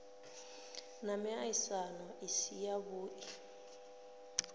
na miaisano i si yavhui